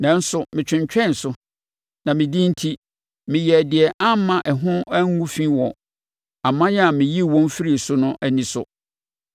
Nanso metwentwɛn so, na me din enti, meyɛɛ deɛ amma ɛho ngu fi wɔ aman a meyii wɔn firii so no ani so.